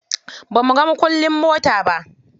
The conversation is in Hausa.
Bamuga mukullin motar ba.